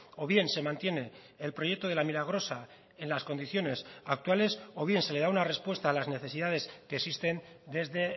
o bien se mantiene el proyecto de la milagrosa en las condiciones actuales o bien se le da una respuesta a las necesidades que existen desde